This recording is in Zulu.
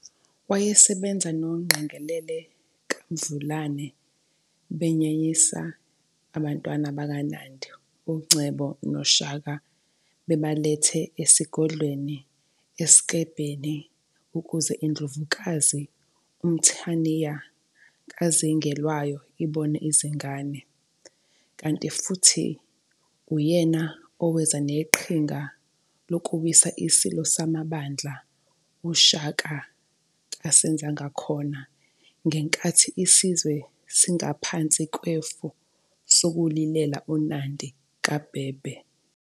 Wayesebenza noNgqengelele kaMvulane, benyenyisa ubantwana bakaNandi uNomcebo noShaka bebaletha esigodlweni eSiklebheni ukuze indlovukazi uMthaniya kaZingelwayo ibone izingane. Kanti futhi uyena oweza neqhinga lokuwisa isilo samabandla uShaka kaSenzangakhona ngenkathi isizwe singaphansi kwefu sokulilela uNandi kaBhebhe.